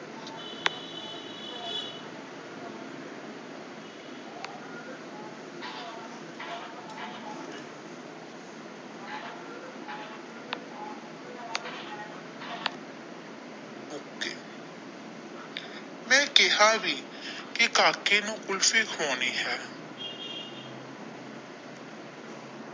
ਮੈ ਕਹਿਆ ਵੀ ਕੀ ਕਾਕੇ ਨੂੰ ਕੁਲਫੀ ਖਵਾਉਣੀ ਹੈ।